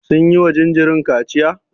Sun yiwa jinjirin kaciya?